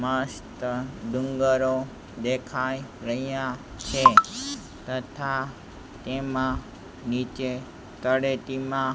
માં સીતા ડુંગરો દેખાય રહ્યા છે તથા તેમાં નીચે તળેટીમાં--